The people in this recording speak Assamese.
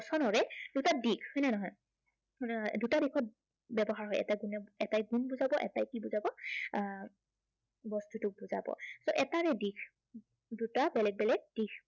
দুটা দিশ হয় নে নহয়, হয় নে নহয়? দুটা দিশত ব্য়ৱহাৰ হয়। যেনে এটাই গুণ বুজাব আৰু এটাই কি বুজাব আহ সেই বস্তুটোক বুজাব সেই এটাৰে দিশ। দুটা বেলেগ বেলেগ দিশ